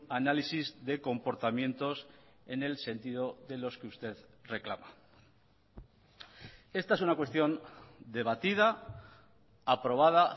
análisis de comportamientos en el sentido de los que usted reclama esta es una cuestión debatida aprobada